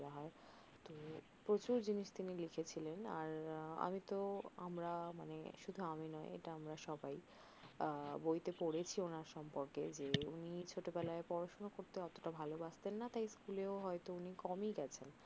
প্রচুর জিনিস তিনি লিখেছিলেন আর আমি তহ আমরা মানে শুধু আমি নয় এটা আমরা সবাই বইতে পরেছি ওনার সম্পর্কে উনি ছোট বেলায় পড়াশোনা করতে অতটা ভালবাসতেন না তাই স্কুলে হয়ত উনি কম গেছেন